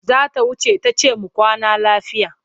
Za ta wuce ta ce mu kwana lafiya.